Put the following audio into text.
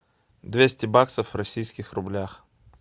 двести баксов в российских рублях